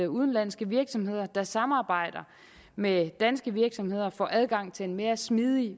udenlandske virksomheder der samarbejder med danske virksomheder får adgang til en mere smidig